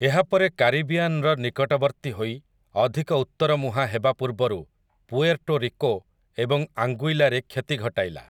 ଏହା ପରେ କାରିବିଆନ୍‌ର ନିକଟବର୍ତ୍ତୀ ହୋଇ ଅଧିକ ଉତ୍ତର ମୁହାଁ ହେବା ପୂର୍ବରୁ ପୁଏର୍ଟୋ ରିକୋ ଏବଂ ଆଙ୍ଗୁଇଲାରେ କ୍ଷତି ଘଟାଇଲା ।